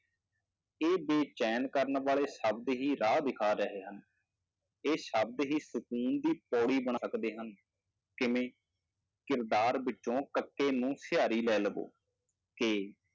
ਇਹ ਬੇਚੈਨ ਕਰਨ ਵਾਲੇ ਸ਼ਬਦ ਹੀ ਰਾਹ ਦਿਖਾ ਰਹੇ ਹਨ, ਇਹ ਸ਼ਬਦ ਹੀ ਸ਼ਕੂਨ ਦੀ ਪੌੜੀ ਹਨ ਕਿਵੇਂ ਕਿਰਦਾਰ ਵਿੱਚੋਂ ਕੱਕੇ ਨੂੰ ਸਿਹਾਰੀ ਲੈ ਲਵੋ, ਕਿ